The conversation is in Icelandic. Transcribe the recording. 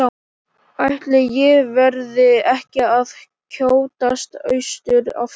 Ætli ég verði ekki að skjótast austur aftur.